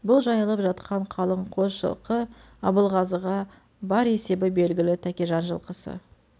бұл жайылып жатқан қалың қос жылқы абылғазыға бар есебі белгілі тәкежан жылқысы